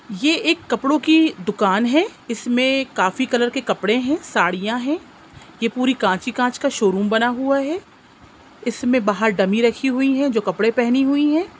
ये एक कपड़ो की दुकान है। इसमें काफी कलर के कपडे हैं साड़ियां हैं। ये पूरी कांच ही कांच का शोरूम बना हुआ है। इसमें बाहर डमी रखी हुई है जो कपडे पहनी हुई है।